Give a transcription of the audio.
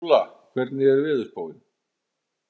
Óla, hvernig er veðurspáin?